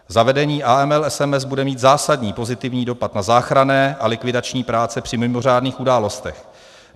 Zavedení AML SMS bude mít zásadní pozitivní dopad na záchranné a likvidační práce při mimořádných událostech.